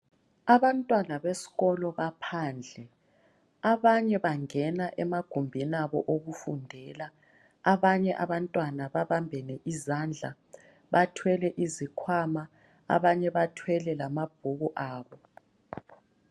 Abantwana besikolo baphandle. Abanye bangena emagumbini abo okufundela. Abanye abantwana babambene izandla bathwele izikhwama, abanye bathwele lamabhuku abo.